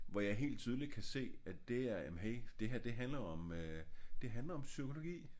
Hvor jeg helt tydeligt kan se at det er jamen hey det her handler om øh det handler om psykologi